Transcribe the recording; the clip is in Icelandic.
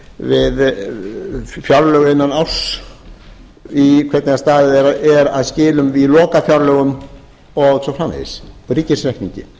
við fjárlög innan árs hvernig staðið er að skilum í lokafjárlögum og svo framvegis ríkisreikningi